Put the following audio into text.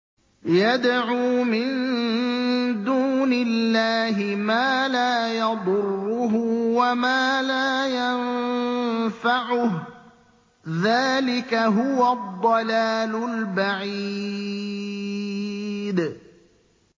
يَدْعُو مِن دُونِ اللَّهِ مَا لَا يَضُرُّهُ وَمَا لَا يَنفَعُهُ ۚ ذَٰلِكَ هُوَ الضَّلَالُ الْبَعِيدُ